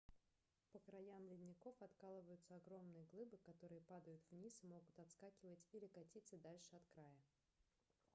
по краям ледников откалываются огромные глыбы которые падают вниз и могут отскакивать или катиться дальше от края